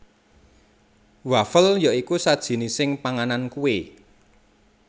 Wafel ya iku sajinising panganan kue